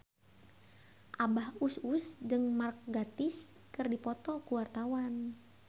Abah Us Us jeung Mark Gatiss keur dipoto ku wartawan